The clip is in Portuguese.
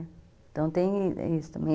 Então tem isso também.